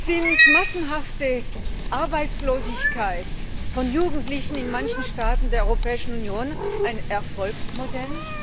Sind massenhafte Arbeitslosigkeit von Jugendlichen in manchen Staaten der Europäischen Union ein Erfolgsmodell?